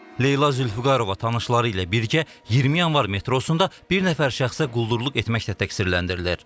Leyla Zülfüqarova tanışları ilə birgə 20 yanvar metrosunda bir nəfər şəxsə quldurluq etməklə təqsirləndirilir.